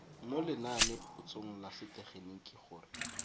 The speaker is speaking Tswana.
mo lenanepotsong la setegeniki gore